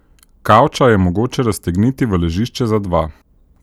Kavča je mogoče raztegniti v ležišče za dva.